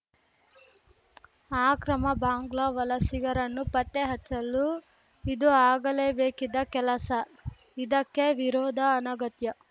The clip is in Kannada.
ಆಕ್ರಮ ಬಾಂಗ್ಲಾ ವಲಸಿಗರನ್ನು ಪತ್ತೆಹಚ್ಚಲು ಇದು ಆಗಲೇಬೇಕಿದ್ದ ಕೆಲಸ ಇದಕ್ಕೆ ವಿರೋಧ ಅನಗತ್ಯ